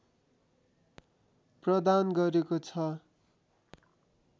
प्रदान गरेको छ।